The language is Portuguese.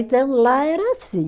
Então, lá era assim.